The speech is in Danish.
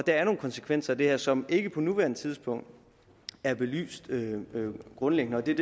der er nogle konsekvenser af det her som ikke på nuværende tidspunkt er belyst grundigt nok det